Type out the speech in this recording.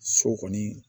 So kɔni